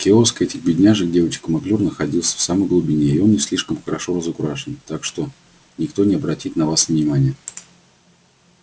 киоск этих бедняжек девочек маклюр находится в самой глубине и он не слишком хорошо разукрашен так что никто не обратит на вас внимания